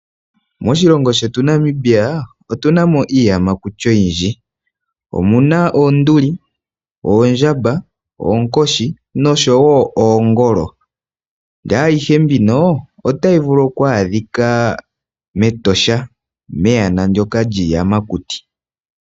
Moshilongo shetu Namibia, otu na mo iiyamakuti oyindji. Omu na oonduli, oondjamba, oonkoshi, nosho woo oongolo, naayihe mbika ota yi vulu oku adhika mEtosha, meyana lyiiyamakuti.